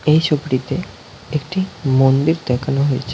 এই ছবিটিতে একটি মন্দির দেখানো হয়েছে।